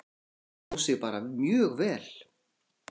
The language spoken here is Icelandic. Hún stóð sig bara mjög vel.